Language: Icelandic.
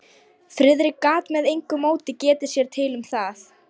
Friðrik gat með engu móti getið sér til um það.